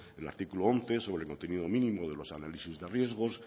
el artículo once sobre el contenido mínimo de los análisis de riesgos